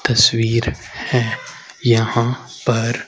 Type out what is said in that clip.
तस्वीर हैं यहां पर।